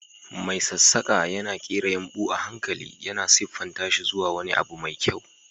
Mai sassaƙa yana ƙera yumɓu a hankali, yana siffanta shi zuwa wani abu mai kyau.